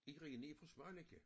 Irina er fra Svaneke